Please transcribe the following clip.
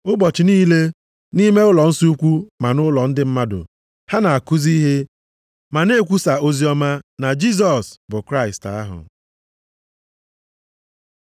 Ụbọchị niile, nʼime ụlọnsọ ukwu ma nʼụlọ ndị mmadụ ha na-akụzi ma na-ekwusa oziọma na Jisọs bụ Kraịst ahụ.